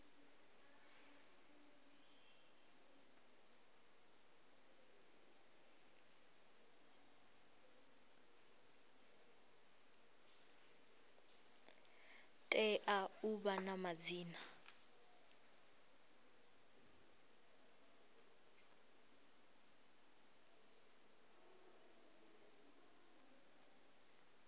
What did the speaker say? tea u vha na madzina